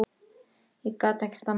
Ég kann ekkert annað.